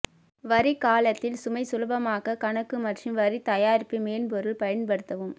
வரி காலத்தில் சுமை சுலபமாக்க கணக்கு மற்றும் வரி தயாரிப்பு மென்பொருள் பயன்படுத்தவும்